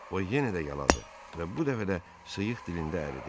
O yenə də yaladı və bu dəfə də sıyıq dilində əridi.